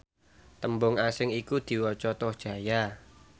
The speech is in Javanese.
tembung asing iku diwaca tohjaya